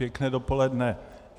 Pěkné dopoledne.